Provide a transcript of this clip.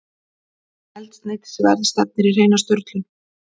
Eldsneytisverð stefnir í hreina sturlun